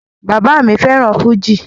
Bàbá mi fẹ́ràn fújì